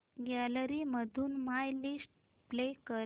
gallery मधून my list play कर